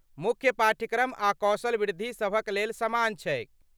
मुख्य पाठ्यक्रम आ कौशल वृद्धि सभक लेल समान छैक।